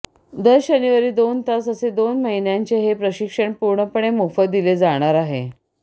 दर शनिवारी दोन तास असे दोन महिन्यांचे हे प्रशिक्षण पूर्णपणे मोफत दिले जाणार आहे